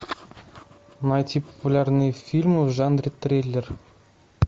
найти популярные фильмы в жанре триллер